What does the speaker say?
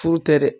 Furu tɛ dɛ